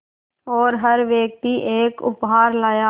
और हर व्यक्ति एक उपहार लाया